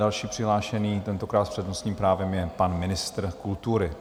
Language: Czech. Další přihlášený, tentokrát s přednostním právem, je pan ministr kultury.